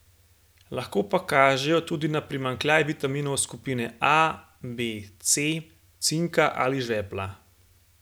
Lahko pa kažejo tudi na primanjkljaj vitaminov skupine A, B, C, cinka ali žvepla.